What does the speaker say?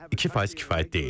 2% kifayət deyil.